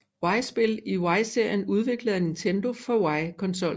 Wii spil i Wii serien udviklet af Nintendo for Wii konsollen